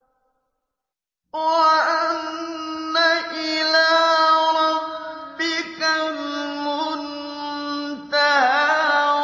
وَأَنَّ إِلَىٰ رَبِّكَ الْمُنتَهَىٰ